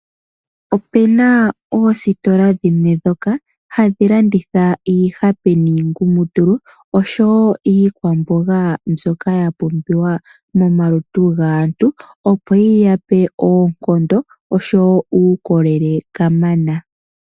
Opena oositola dhimwe dhoka hadhi landitha iihape niingumutulu osho woo iikwamboga mbyoka yapumbiwa momalutu gaantu opo yi yape oonkondo osho woo uukolele kamana.